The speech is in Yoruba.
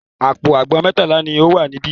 Àpò àgbọn mẹ́tàlá ni ó wà níbẹ̀.